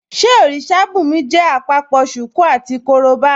Ṣé òrìṣà bùnmi jẹ́ àpapọ̀ ṣùkú àti korobá?